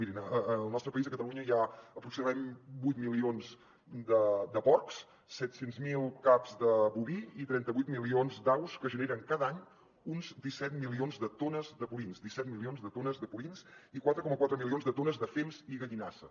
mirin al nostre país a catalunya hi ha aproximadament vuit milions de porcs set cents miler caps de boví i trenta vuit milions d’aus que generen cada any uns disset milions de tones de purins disset milions de tones de purins i quatre coma quatre milions de tones de fems i gallinasses